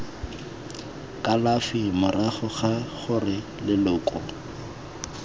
kalafi morago ga gore leloko